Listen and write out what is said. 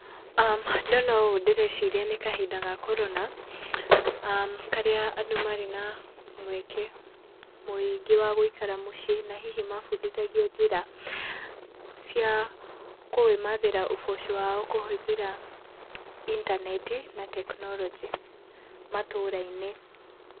Ndona ũũ ndĩreciria nĩ kahinda ga Corona, karĩa andũ marĩ na mũeke mũingĩ wa gũikara mũciĩ na hihi mabundithagio njĩra cia kũĩmathĩra ũboco wao kũhũthĩra intaneti na tekinoronjĩ matũra-inĩ.